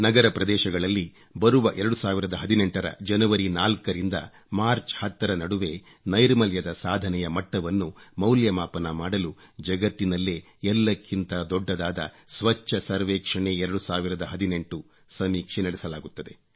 ನಗರ ಪ್ರದೇಶಗಳಲ್ಲಿ ಬರುವ 2018 ರ ಜನವರಿ 4 ರಿಂದ ಮಾರ್ಚ್ 10 ರ ನಡುವೆ ನೈರ್ಮಲ್ಯದ ಸಾಧನೆಯ ಮಟ್ಟವನ್ನು ಮೌಲ್ಯಮಾಪನ ಮಾಡಲು ಜಗತ್ತಿನಲ್ಲೇ ಎಲ್ಲಕ್ಕಿಂತ ದೊಡ್ಡದಾದ ಸ್ವಚ್ಚ ಸರ್ವೇಕ್ಷಣೆ 2018 ಸಮೀಕ್ಷೆ ನಡೆಸಲಾಗುತ್ತದೆ